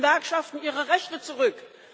Geben Sie den Gewerkschaften ihre Rechte zurück.